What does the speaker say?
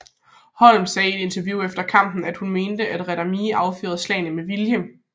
Holm sagde i et interview efter kampen and at hun mente at Randamie affyrede slagene med vilje